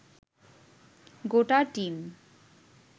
গোটা টিম